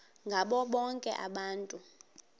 ngabo bonke abantu